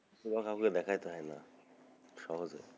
কোনো কাওকে দেখাইতে হয়না সহজে,